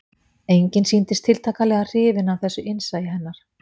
Enginn sýndist tiltakanlega hrifinn af þessu innsæi hennar